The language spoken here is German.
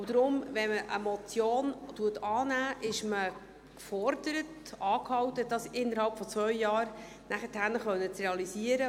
Deshalb: Wenn man eine Motion annimmt, ist man gefordert, angehalten, das nachher innerhalb von zwei Jahren realisieren zu können.